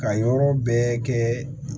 Ka yɔrɔ bɛɛ kɛ